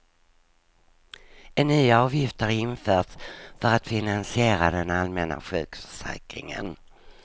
En ny avgift har införts för att finansiera den allmänna sjukförsäkringen.